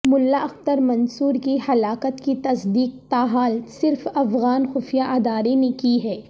ملا اختر منصور کی ہلاکت کی تصدیق تاحال صرف افغان خفیہ ادارے نے کی ہے